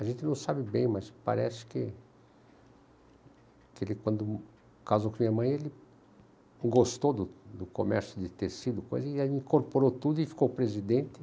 A gente não sabe bem, mas parece que que ele quando ele casou com a minha mãe, ele gostou do do comércio de tecido, e aí incorporou tudo e ficou presidente.